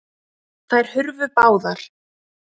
Þær hurfu báðar.